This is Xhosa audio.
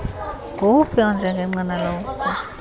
nguwuphi onjengengqina lexhoba